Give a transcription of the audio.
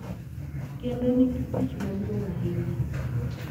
kendo nigi tich maduong' ahinya,